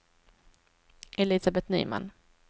Elisabet Nyman